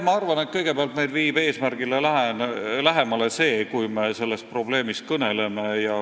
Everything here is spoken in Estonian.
Ma arvan, et kõigepealt viib meid eesmärgile lähemale see, kui me sellest probleemist kõneleme.